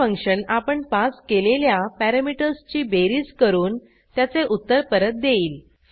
हे फंक्शन आपण पास केलेल्या पॅरॅमीटर्सची बेरीज करून त्याचे उत्तर परत देईल